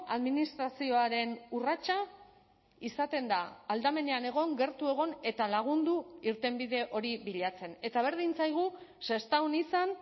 administrazioaren urratsa izaten da aldamenean egon gertu egon eta lagundu irtenbide hori bilatzen eta berdin zaigu sestaon izan